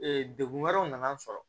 degun wɛrɛw nana n sɔrɔ